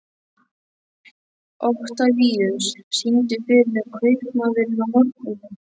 Oktavíus, syngdu fyrir mig „Kaupmaðurinn á horninu“.